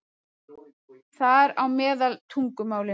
Þar á meðal tungumálinu.